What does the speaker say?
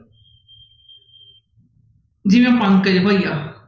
ਜਿਵੇਂ ਪੰਕਜ ਭਈਆ।